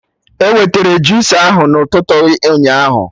E wetara jusa ahụ na ụtụtụ ụnyaahụ